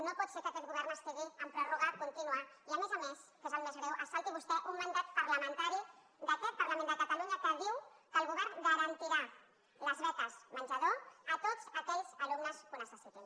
no pot ser que aquest govern estigui amb pròrroga contínua i a més a més que és el més greu se salti vostè un mandat parlamentari d’aquest parlament de catalunya que diu que el govern garantirà les beques menjador a tots aquells alumnes que ho necessitin